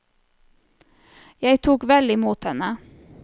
Jeg tok vel i mot henne.